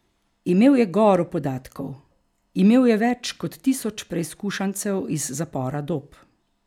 Imel je goro podatkov, imel je več kot tisoč preizkušancev iz zapora Dob.